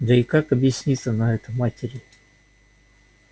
да и как объяснит она это матери